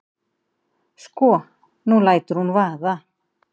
Sko. nú lætur hún vaða.